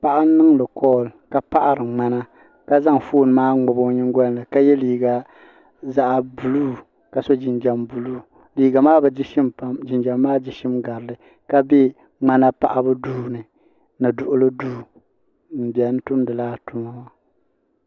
paɣa n niŋdi koll ka paɣari ŋmana ka zaŋ fooni maa ŋmabi o nyingolini ka ye liiga zaɣa buluu ka so jinjiɛm buluu liiga maa bi di shim pam liiga maa di shim garili ka be ŋmana paɣabu duuni ni Duɣuli duu m biɛni tumdila tuma.